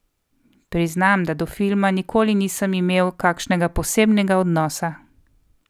Priznam, da do filma nikoli nisem imel kakšnega posebnega odnosa.